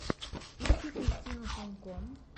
ищи кристину санько